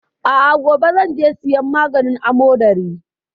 A'a, gobe zan je siyan maganin amodari.